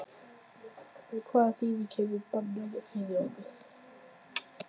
En hvaða þýðingu hefur bannið fyrir okkur?